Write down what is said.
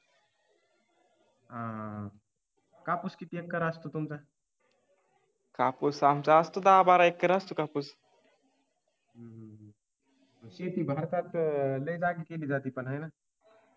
शेती भारतात लय जागी केली जाते पण हे ना